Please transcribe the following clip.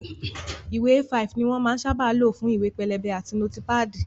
Ìwé A5 ni wón sábà máa ń lò fún ìwé pélébé àti nótípàdì